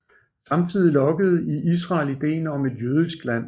Samtidig lokkede i Israel idéen om et jødisk land